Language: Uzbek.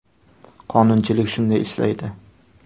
Qonunchilik shunday ishlaydi.